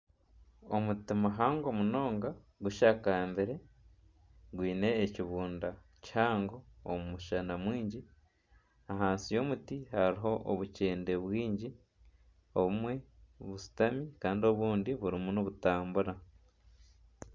Omuti muhango munonga gushakambire gwiine ekibunda kihango omu mushana mwingi. Ahansi y'omuti hariho obukyende bwingi, obumwe bushutami Kandi obundi burimi nibutambura.